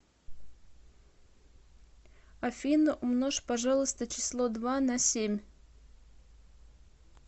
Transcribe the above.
афина умножь пожалуйста число два на семь